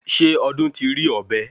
Ṣé Ọdún ti rí ọ̀bẹ?